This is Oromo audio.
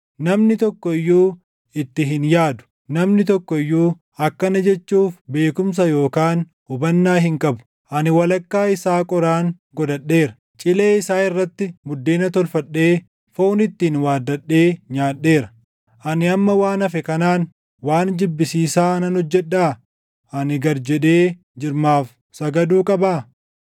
Namni tokko iyyuu itti hin yaadu; namni tokko iyyuu akkana jechuuf beekumsa // yookaan hubannaa hin qabu; “Ani walakkaa isaa qoraan godhadheera; cilee isaa irratti buddeena tolfadhee foon ittiin waaddadhee nyaadheera. Ani amma waan hafe kanaan waan jibbisiisaa nan hojjedhaa? Ani gad jedhee jirmaaf sagaduu qabaa?”